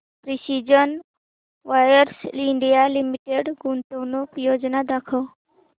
precision wires India limited गुंतवणूक योजना दाखव